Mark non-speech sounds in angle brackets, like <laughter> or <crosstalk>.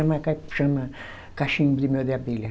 <unintelligible> chama cachimbo de mel de abelha.